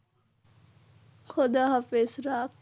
খুদা হাফিজ রাখ।